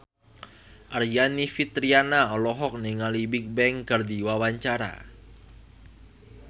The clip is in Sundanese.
Aryani Fitriana olohok ningali Bigbang keur diwawancara